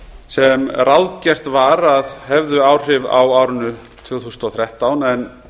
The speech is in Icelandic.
sem ráðgert var að hefðu áhrif á árinu tvö þúsund og þrettán en